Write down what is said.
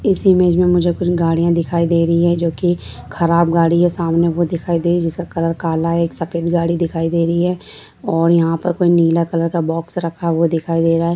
इस इमेज में मुझे कुछ गड़ियाँ दिखाई दे रही है जो की खराब गाड़ियाँ हैं सामने वो दिखाई दे रही है जिसका कलर काला है एक सफ़ेद गाड़ी दिखाई दे रही है और यह पे कोई नीला कलर का बॉक्स रखा हुआ दिखाई दे रहा है।